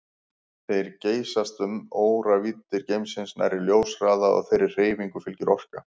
Þær geysast um óravíddir geimsins nærri ljóshraða og þeirri hreyfingu fylgir orka.